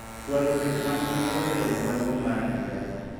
chwalo weche mag nonro e romo maduong' mar higa